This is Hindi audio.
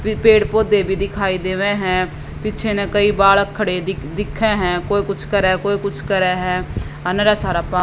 पेड़ पोदहे भी दिखाई देवे है पीछे न कई बालक देखे है कोए कुछ करे ह कोई कुछ करे है अर नीर सारा पा --